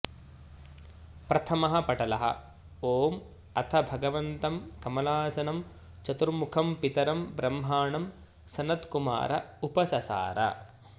प्रथमः पटलः ॐ अथ भगवन्तं कमलासनं चतुर्मुखं पितरं ब्रह्माणं सनत्कुमार उपससार